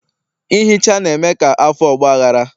ihicha na-eme ka afọ ọgbaghara